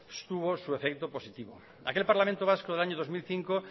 estuvo su efecto positivo aquel parlamento vasco del año dos mil cinco